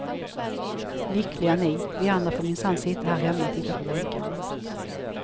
Lyckliga ni, vi andra får minsanna sitta här hemma och titta på väggarna.